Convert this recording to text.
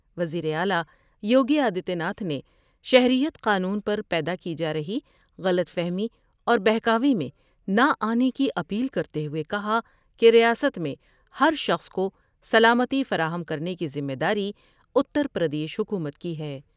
وزیر اعلی یوگی آدتیہ ناتھ نے شہریت قانون پر پیدا کی جارہی غلط فہمی اور بہکاوے میں نہ آنے کی اپیل کرتے ہوۓ کہا کہ ریاست میں ہر شخص کوسلامتی فراہم کرنے کی ذمہ داری اتر پردیش حکومت کی ہے۔